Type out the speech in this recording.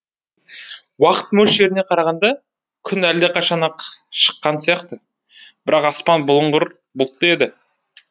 уақыт мөлшеріне қарағанда күн әлдеқашан ақ шыққан сияқты бірақ аспан бұлыңғыр бұлтты еді